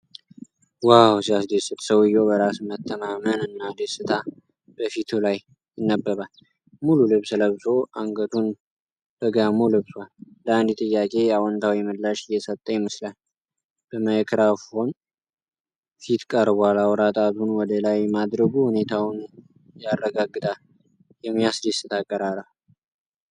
ዋው ሲያስደስት! ሰውዬው በራስ መተማመን እና ደስታ በፊቱ ላይ ይነበባል። ሙሉ ልብስ ለብሶ፣ አንገቱን በጋሞ ለብሷል። ለአንድ ጥያቄ አዎንታዊ ምላሽ እየሰጠ ይመስላል። በማይክሮፎን ፊት ቀርቧል። አውራ ጣቱን ወደ ላይ ማድረጉ ሁኔታውን ያረጋግጣል። የሚያስደስት አቀራረብ!